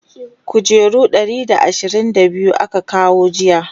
kujeru guda Ɗari da ashirin da biyu aka kawo jiya